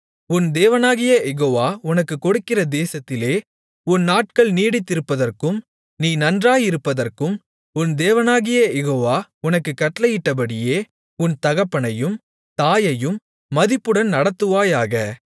உன் தேவனாகிய யெகோவா உனக்குக் கொடுக்கிற தேசத்திலே உன் நாட்கள் நீடித்திருப்பதற்கும் நீ நன்றாயிருப்பதற்கும் உன் தேவனாகிய யெகோவா உனக்குக் கட்டளையிட்டபடியே உன் தகப்பனையும் தாயையும் மதிப்புடன் நடத்துவாயாக